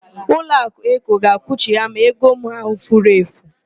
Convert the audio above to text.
Ụlọakụ Eko ga-akwụghachi m ego m ahụ furu efu.